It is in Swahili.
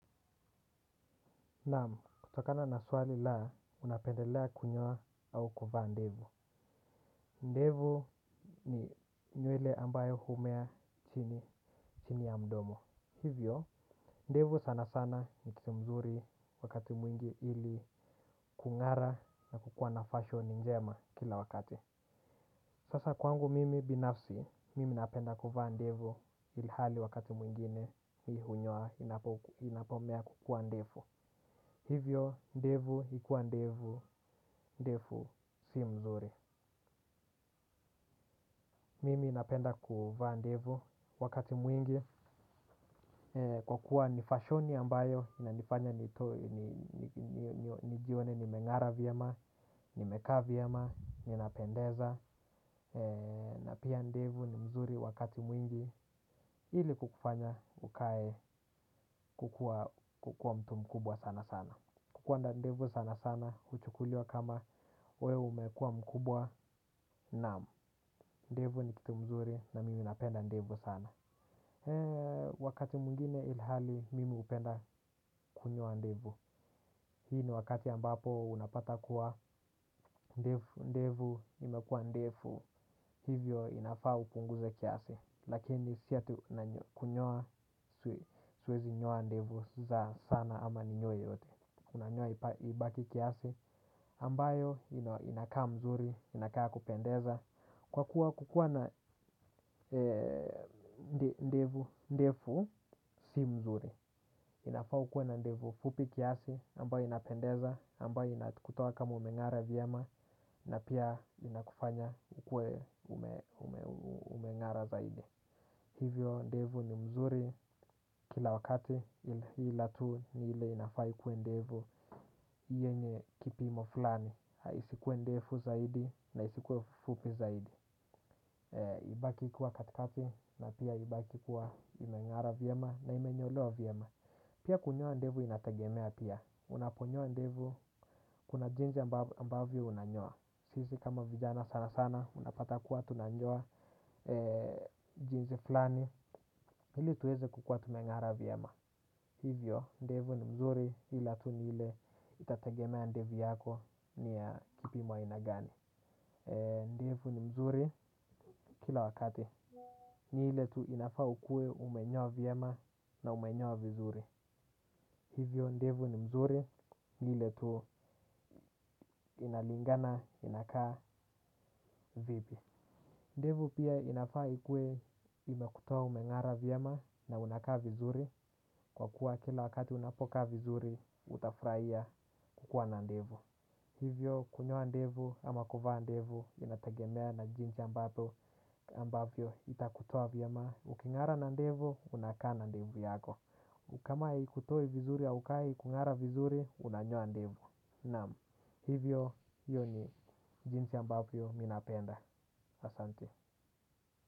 Naam, kutokana na swali la unapendelea kunyoa au kuvaa ndevu. Ndevu ni nywele ambayo humea chini ya mdomo, hivyo ndevu sana sana nikitumzuri wakati mwingi ili kung'ara na kukua na fashion njema kila wakat. Sasa kwangu mimi binafsi, mimi napenda kuvaa ndevu ili hali wakati mwingine mimi hunyoa inapomea kukua ndefu. Hivyo ndevu ikuwa ndefu si mzuri. Mimi napenda kuvaa ndevu. Wakati mwingi, kwa kuwa nifashoni ambayo inanifanya, nijione nimeng'ara vyema, nimekaa vyema, ninapendeza na pia ndevu ni mzuri wakati mwingi ili kukufanya ukae kukua mtu mkubwa sana sana. Kukua na ndevu sana sana, huchukuliwa kama wewe umekua mkubwa, naam, ndevu nikitumzuri na mimi napenda ndevu sana. Eee, wakati mwingine ilhali, mimi hupenda kunyoa ndevu. Hii ni wakati ambapo unapata kuwa ndevu, imekua ndefu, hivyo inafaa upunguze kiasi. Lakini sio tu kunyoa siwezi nyoa ndevu zangu sana ama ninyoe yote. Unanyoa ibaki kiasi ambayo inakaa mzuri, inakaa kupendeza kwa kuwa kukua na ndevu ndefu. Si mzuri, inafaa ukue na ndevu fupi kiasi ambayo inapendeza ambayo inakutoa kama umeng'ara vyema na pia inakufanya ukue, umeng'ara zaidi. Hivyo ndevu ni mzuri kila wakati, ila tu ni ile inafaa ikue ndevu yenye kipimo fulani, isikuwe ndefu zaidi na isikuwe fupi. Fupi zaidi. Ibaki kuwa katikati na pia ibaki kuwa imeng'ara vyema na imenyolewa vyema. Pia kunyoa ndevu inategemea pia, unaponyoa ndefu kuna jinsi ambavyo unanyoa. Sisi kama vijana sana sana unapata kuwa tunanyoa jinsi fulani. Ili tuweze kukua tumeng'ara vyema. Hivyo ndefu ni mzuri ila tu niile itategemea ndevu yako. Ni ya kipimo aina gani. Ndevu ni mzuri kila wakati. Ni ile tu inafaa ukue umenyoa vyema na umenyoa vizuri. Hivyo ndevu ni mzuri. Ni ile tu, inalingana inakaa vipi. Ndevu pia inafaa ikue imekutoa umeng'ara vyema na unakaa vizuri. Kwa kuwa kila wakati unapokaa vizuri utafurahia kukua na ndevu. Hivyo kunyoa ndevu ama kuvaa ndevu inategemea na jinsi ambapo, ambapo itakutua vyema. Uking'ara na ndevu, unakaa na ndevu yako. Ukama haikutoi vizuri haukai kung'ara vizuri, unanyoa ndevu. Naam, hivyo hiyo ni jinsi ambavyo mimi napenda. Asante.